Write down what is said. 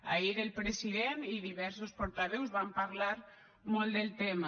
ahir el president i diversos portaveus van parlar molt del tema